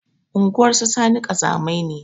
Unguwar su sani ƙazamai ne